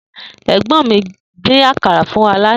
È̩gbó̩n mi dín àkàrà fún wa lánàá